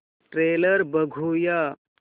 trailer बघूया